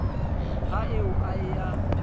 ha eo a e ya